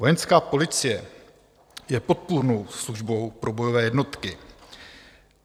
Vojenská policie je podpůrnou službou pro bojové jednotky.